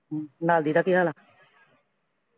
ਲਾਡੀ ਦਾ ਕੀ ਹਾਲ ਆ